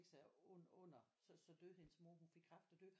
Sig under under så døde hende mor hun fik kræft og døde